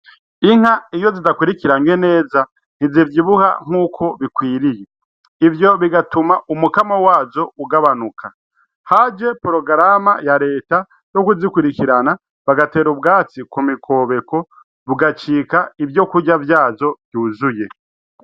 Inka iyo zidakwikiranwe neza ntizivyibuha uko bikwiriye ivyo bigatuma umwimbu wazo ugabanuka, haje ingingo ya reta yokuzikurikirana bagater'ubwatsi kumikobeko bukaba ivyokurya vyazo.